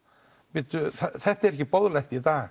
bíddu þetta er ekki boðlegt í dag